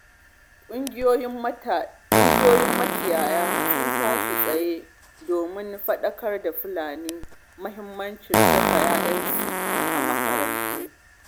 Ƙungiyoyin makiyaya sun tashi tsaye domin faɗakar da Fulani muhimmacin saka 'ya'yansu a makaranta.